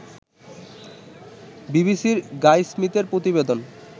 বিবিসির গাই স্মিথের প্রতিবেদন